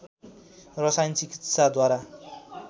रसायन चिकित्साद्वारा